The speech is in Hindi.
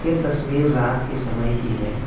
ये तस्वीर रात के समय की है।